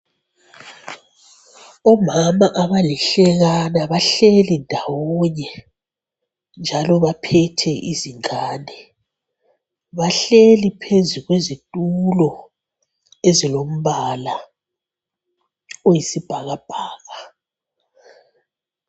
Omama abalihlekana bahleli ndawonye, njalo baphethe izingane. Bahleli phezukwezitulo ezilombala oyisibhakabhaka.